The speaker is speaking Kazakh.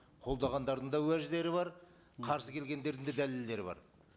қолдағандардың да уәждері бар қарсы келгендердің де дәлелдері бар